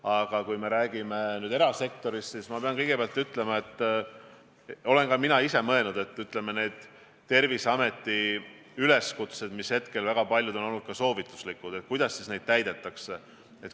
Aga kui me räägime erasektorist, siis tuleb tunnistada, et ma olen ka ise mõelnud, kuidas ikkagi Terviseameti üleskutseid, mis seni on olnud suures osas soovituslikud, täidetakse.